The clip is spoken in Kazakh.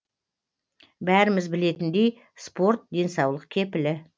бәріміз білетіндей спорт денсаулық кепілі